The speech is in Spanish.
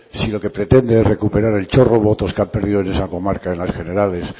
si lo que pretende es recuperar el chorro votos que han perdido en esa comarca en las generales